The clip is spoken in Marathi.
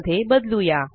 मध्ये बदलुया